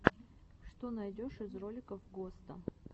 что найдешь из роликов госта